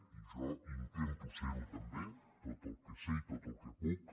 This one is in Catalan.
i jo intento serho també tot el que sé i tot el que puc